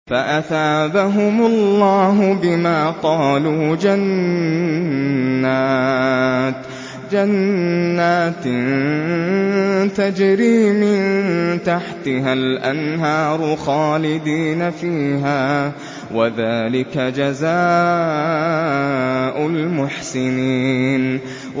فَأَثَابَهُمُ اللَّهُ بِمَا قَالُوا جَنَّاتٍ تَجْرِي مِن تَحْتِهَا الْأَنْهَارُ خَالِدِينَ فِيهَا ۚ وَذَٰلِكَ جَزَاءُ الْمُحْسِنِينَ